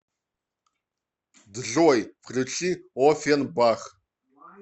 джой включи офенбах